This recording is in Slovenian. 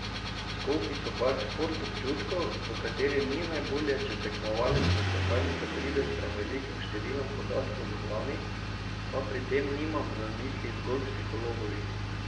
Skoki so pač šport občutkov, v katerem ni najbolje, če tekmovalec na skakalnico pride s prevelikim številom podatkov v glavi, pa pri tem nimam v mislih zgolj psihologovih.